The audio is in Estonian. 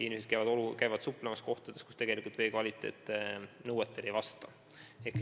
Inimesed käivad suplemas ka kohtades, kus vee kvaliteet nõuetele ei vasta.